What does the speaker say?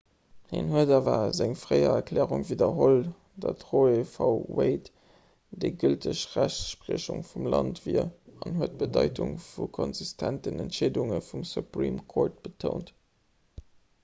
hien huet awer seng fréier erklärung widderholl datt roe v wade déi gülteg rechtspriechung vum land wier an huet d'bedeitung vu konsistenten entscheedunge vum supreme court betount